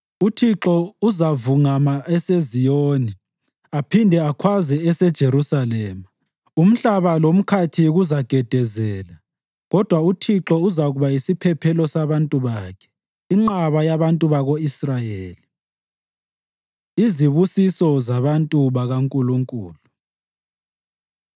UThixo uzavungama eseZiyoni aphinde akhwaze eseJerusalema; umhlaba lomkhathi kuzagedezela. Kodwa uThixo uzakuba yisiphephelo sabantu bakhe, inqaba yabantu bako-Israyeli.” Izibusiso Zabantu BakaNkulunkulu